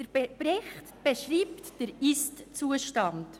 Der Bericht beschreibt den Ist-Zustand.